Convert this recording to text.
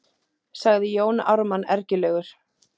sagði Jón Ármann ergilegur.